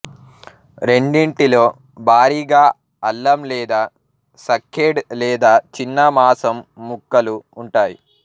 రెండింటిలో భారీగా అల్లం లేదా సక్కేడ్ లేదా చిన్న మాసం ముక్కలు ఉంటాయి